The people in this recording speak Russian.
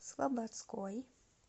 слободской